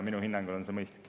Minu hinnangul on see mõistlik.